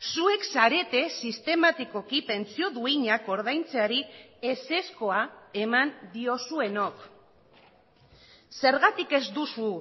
zuek zarete sistematikoki pentsio duinak ordaintzeari ezezkoa eman diozuenok zergatik ez duzu